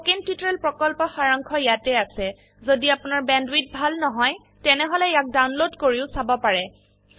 spoken tutorial প্ৰকল্পৰ সাৰাংশ ইয়াত আছে যদি আপোনাৰ বেণ্ডৱিডথ ভাল নহয় তেনেহলে ইয়াক ডাউনলোড কৰি চাব পাৰে